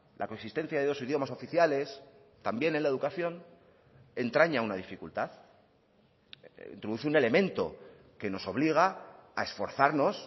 la coexistencia de dos idiomas oficiales también en la educación entraña una dificultad introduce un elemento que nos obliga a esforzarnos